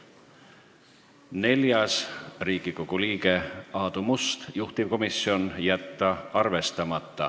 Neljas on Riigikogu liikmelt Aadu Mustalt, juhtivkomisjoni otsus: jätta arvestama.